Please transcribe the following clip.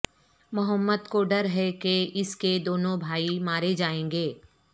محمد کو ڈر ہے کہ اس کے دونوں بھائی مارے جائیں گے